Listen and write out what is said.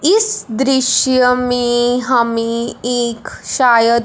इस दृश्य में हमे एक शायद--